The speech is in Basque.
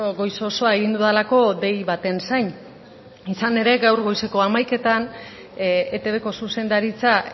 goiz osoa egin dudalako dei baten zain izan ere gaur goizeko hamaikazeroetan eitbko zuzendaritza